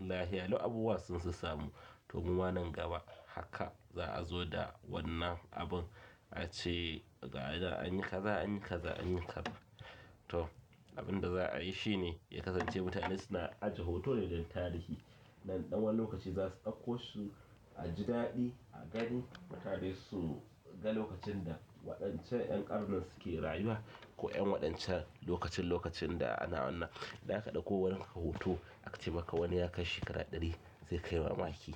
lahiyalau abubuwa sun sassamu. To muma nan gaba haka za a zo da wannan abin a ce gayanan anyi kaza anyi kaza anyi kaza. To abin da za a yi shi ne ya kasance mutane suna ajiye hoto ne don tarihi. Nan ɗan wani lokaci za su ɗauko su a ji daɗi a gani. Mutane su ga lokacin da waɗancan ƴan ƙarnin suke rayuwa ko ƴan waɗancan lokacin lokacin da ana wannan. Idan aka ɗauko wani hoton aka ce maka wani ya kai shekara ɗari sai kai mamaki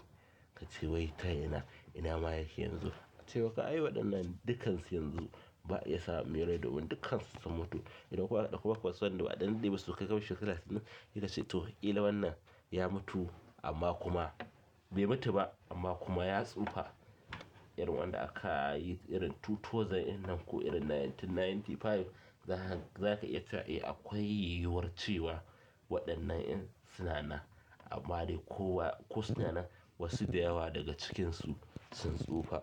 ka ce wai ta ina ina ma yake yanzu? A ce maka ai waɗannan dukansu yanzu ba a iya samu mai rai domin dukansu sun mutu. Idan kuma aka ɗauko wasu waɗanda basu kai kabshi shekaru sittin idan sai to ƙila wannan ya mutu amma kuma bai mutu ba amma kuma ya tsufa. Irin wanda aka yi irin two thounsan irin nan ko irin nineteen, ninety five za ka iya faɗi akwai yiwuwar cewa waɗannan in suna nan amma dai ko suna nan wasu da yawa daga cikinsu sun tsufa.